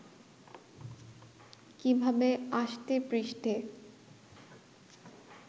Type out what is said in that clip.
কীভাবে আষ্টেপৃষ্ঠে